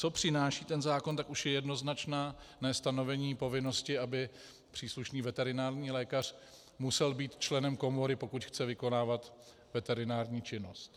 Co přináší ten zákon, tak už je jednoznačné stanovení povinnosti, aby příslušný veterinární lékař musel být členem komory, pokud chce vykonávat veterinární činnost.